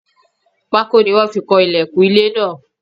Pákó ni wọ́n fi kan ìlẹ̀kùn ilé náà.